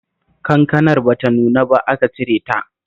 Kankanar ba ta nuna ba aka cire ta